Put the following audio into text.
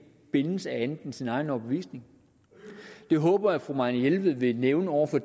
bindes af andet end sin egen overbevisning det håber jeg at fru marianne jelved vil nævne over for